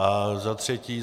A za třetí.